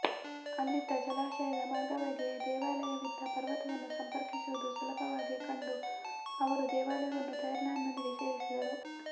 ಅಲ್ಲಿದ್ದ ಜಲಾಶಯದ ಮಾರ್ಗವಾಗಿ ದೇವಾಲಯವಿದ್ದ ಪರ್ವತವನ್ನು ಸಂಪರ್ಕಿಸುವುದು ಸುಲಭವಾಗಿ ಕಂಡು ಅವರು ದೇವಾಲಯವನ್ನು ಥೈಲ್ಯಾಂಡ್ನೊಂದಿಗೆ ಸೇರಿಸಿದರು